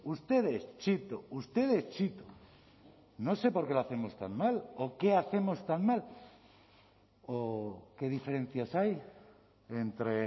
ustedes chito ustedes chito no sé por qué lo hacemos tan mal o qué hacemos tan mal o qué diferencias hay entre